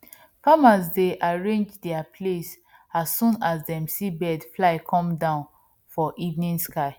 farmers dey arrange their place as soon as dem see birds fly come down for evening sky